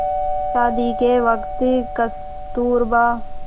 शादी के वक़्त कस्तूरबा